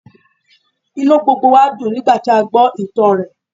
Inú gbogbo wa dùn nígbàtí a gbó ìtàn rẹ̀